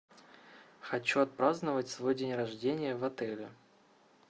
хочу отпраздновать свой день рождения в отеле